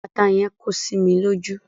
Ata yẹn kó sí mi lójú.